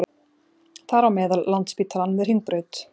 Þar á meðal Landspítalann við Hringbraut